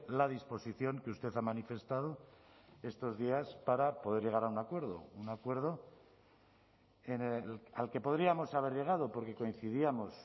la disposición que usted ha manifestado estos días para poder llegar a un acuerdo un acuerdo al que podríamos haber llegado porque coincidíamos